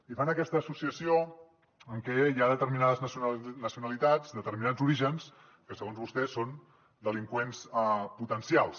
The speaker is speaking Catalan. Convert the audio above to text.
i fan aquesta associació en què hi ha determinades nacionalitats determinats orígens que segons vostès són delinqüents potencials